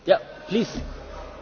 Panie Przewodniczący!